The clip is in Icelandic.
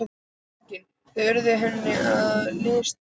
Einnig þau urðu henni að listaverki.